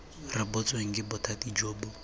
rebotsweng ke bothati jo bo